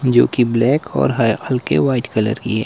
जो की ब्लैक और हय हल्के व्हाइट कलर की है।